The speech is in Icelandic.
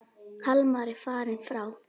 Hallmar er fallinn frá.